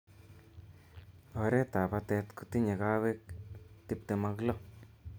oret ab batet kotinye kawaik tiptem ak lo